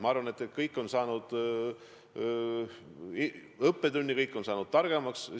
Ma arvan, et kõik on saanud õppetunni, kõik on saanud targemaks.